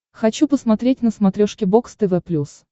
хочу посмотреть на смотрешке бокс тв плюс